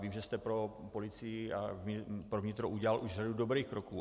Vím, že jste pro policii a pro vnitro udělal už řadu dobrých kroků.